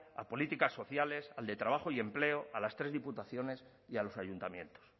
y políticas sociales al de trabajo y empleo a las tres diputaciones y a los ayuntamientos